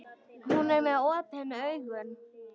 Hún er með opin augun.